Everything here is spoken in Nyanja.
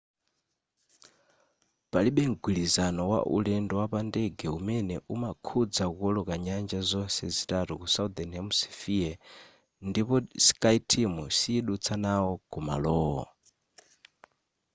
palibe mgwirizano wa ulendo wapa ndege umene umakhudza kuwoloka nyanja zonse zitatu ku southern hemishephere ndipo skyteam siyidutsa nawo kumalowo